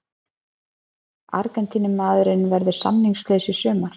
Argentínumaðurinn verður samningslaus í sumar.